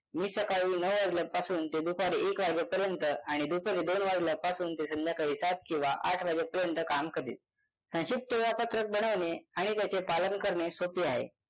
मी सकाळी नऊ वाजल्यापासून ते दुपारी एक वाजेपर्यंत आणि दुपारी दोन वाजल्यापासून ते संध्याकाळी सात किंवा आठ वाजेपर्यंत काम करीन संक्षिप्त वेळापत्रक बनवणे आणि त्याचे पालन करणे सोपे आहे